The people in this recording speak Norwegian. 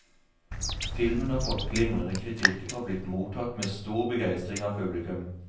Filmen har fått glimrende kritikker og blitt mottatt med stor begeistring av publikum.